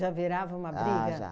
virava uma briga? Ah, já